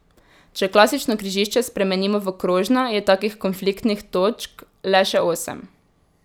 Če klasično križišče spremenimo v krožno, je takih konfliktnih točk le še osem.